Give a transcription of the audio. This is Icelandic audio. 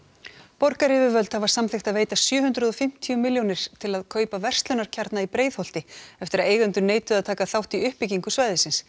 borgaryfirvöld hafa samþykkt að veita sjö hundruð og fimmtíu milljónir til að kaupa verslunarkjarna í Breiðholti eftir að eigendur neituðu að taka þátt í í uppbyggingu svæðisins